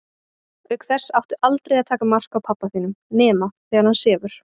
Auk þess áttu aldrei að taka mark á pabba þínum nema þegar hann sefur.